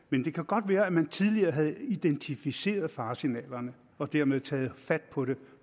men det kan godt være at man tidligere havde identificeret faresignalerne og dermed taget fat på det